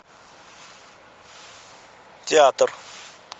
театр